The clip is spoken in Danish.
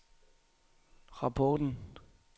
rapporten